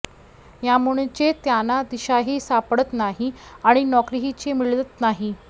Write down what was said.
यामुळेच त्यांना दिशाही सापडत नाही आणि नोकरीही मिळत नाही